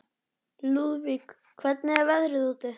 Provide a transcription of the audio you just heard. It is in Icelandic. Lúðvík, hvernig er veðrið úti?